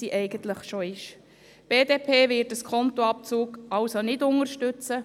Die BDP wird diesen Skontoabzug nicht unterstützen.